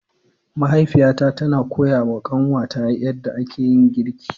Mahaifiyata tana koyawa kanwata yadda ake girki.